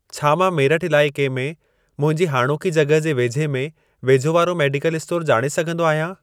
छा मां मेरठ इलाइके में मुंहिंजी हाणोकी जॻहि जे वेझे में वेझो वारा मेडिकल स्टोर ॼाणे सघंदो आहियां?